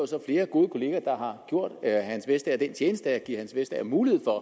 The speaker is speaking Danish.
så flere gode kolleger der har gjort herre hans vestager den tjeneste at give herre hans vestager mulighed for